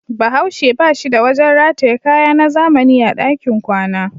Bahaushe ba shi da wajen rataye kaya na zamani a dakin kwana.